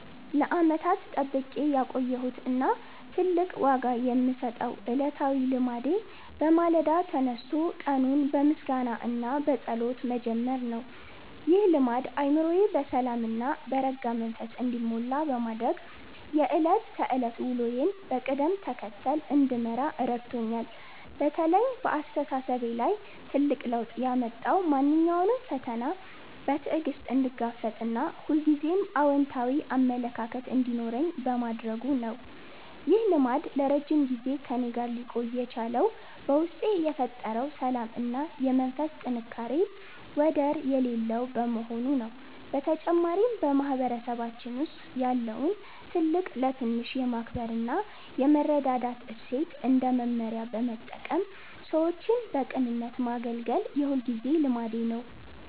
ለዓመታት ጠብቄ ያቆየሁት እና ትልቅ ዋጋ የምሰጠው ዕለታዊ ልማዴ በማለዳ ተነስቶ ቀኑን በምስጋና እና በጸሎት መጀመር ነው። ይህ ልማድ አእምሮዬ በሰላም እና በረጋ መንፈስ እንዲሞላ በማድረግ የዕለት ተዕለት ውሎዬን በቅደም ተከተል እንድመራ ረድቶኛል። በተለይ በአስተሳሰቤ ላይ ትልቅ ለውጥ ያመጣው ማንኛውንም ፈተና በትዕግስት እንድጋፈጥ እና ሁልጊዜም አዎንታዊ አመለካከት እንዲኖረኝ በማድረጉ ነው። ይህ ልማድ ለረጅም ጊዜ ከእኔ ጋር ሊቆይ የቻለው በውስጤ የፈጠረው ሰላም እና የመንፈስ ጥንካሬ ወደር የሌለው በመሆኑ ነው። በተጨማሪም፣ በማህበረሰባችን ውስጥ ያለውን ትልቅ ለትንሽ የማክበር እና የመረዳዳት እሴት እንደ መመሪያ በመጠቀም ሰዎችን በቅንነት ማገልገል የሁልጊዜ ልማዴ ነው።